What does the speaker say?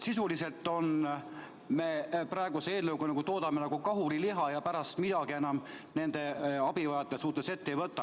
Sisuliselt me praeguse eelnõuga toodame kahuriliha ja pärast midagi enam nende abivajajate suhtes ette ei võta.